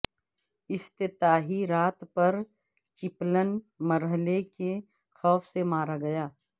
افتتاحی رات پر چیپلن مرحلے کے خوف سے مارا گیا